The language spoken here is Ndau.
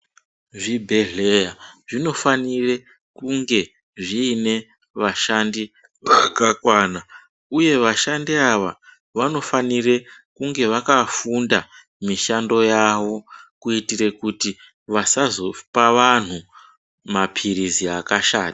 Zvibhedhlera zvinofanire kunge zviine vashandi vakakwana uye vashandi ava vanofanire kunge vakafunda mishando yavo kuitire kuti vasazopa vanhu mapirizi akashata.